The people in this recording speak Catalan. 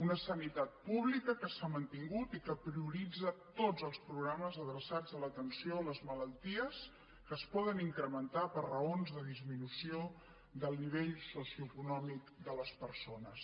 una sanitat pública que s’ha mantingut i que prioritza tots els programes adreçats a l’atenció a les malalties que es poden incrementar per raons de disminució del nivell socioeconòmic de les persones